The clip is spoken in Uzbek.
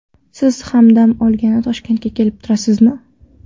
Siz ham dam olgani Toshkentga kelib turasizmi?